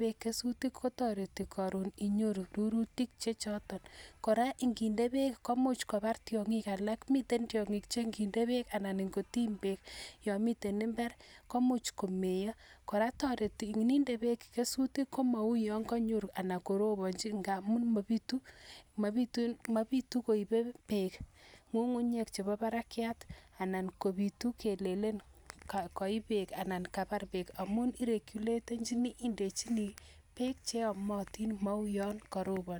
peek kesutik inyoruu torutik chechang ako kora ngiminde peek minutik kochang kot missing ako ondoi tyanging chechang